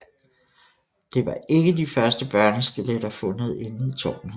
Det var ikke de første børneskeletter fundet inde i tårnet